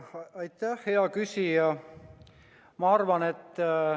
Aitäh, hea küsija!